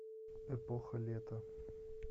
эпоха лета